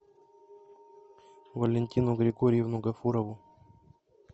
валентину григорьевну гафурову